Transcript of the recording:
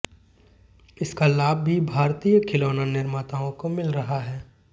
इसका लाभ भी भारतीय खिलौना निर्माताओं को मिल रहा है